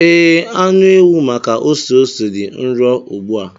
Ee, anụ ewu maka ose ose dị nro ugbu a.